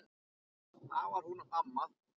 Það var hún amma.